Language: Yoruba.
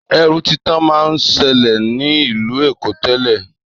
Èrú títà má n sèlè ni ìlú Èkó tèlè